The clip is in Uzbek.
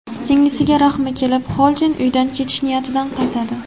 Singlisiga rahmi kelib, Xolden uydan ketish niyatidan qaytadi.